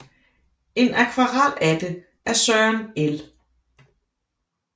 En akvarel af det af Søren L